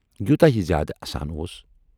یوٗتاہ یہِ زیادٕ اَسان اوس،